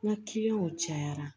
N ka cayara